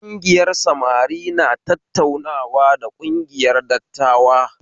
Kungiyar samari na tattaunawa da kungiyar dattawa